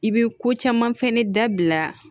I bɛ ko caman fɛnɛ dabila